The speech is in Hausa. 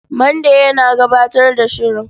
Mande yana gabatar da shirin.